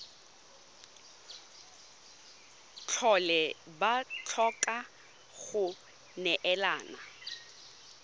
tlhole ba tlhoka go neelana